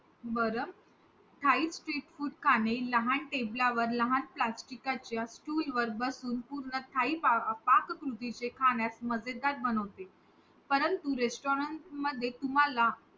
पण तिच्या आत्मसन्मानावर झालेला वार ती कधीच पचवू शकत नाय.